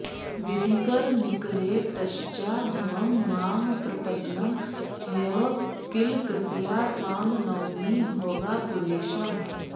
विधिकरनिकरेतश्चाधमं मां प्रपन्नं ह्यव किल कृपया त्वां नौमि भोगापुरेशम्